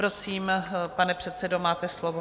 Prosím, pane předsedo, máte slovo.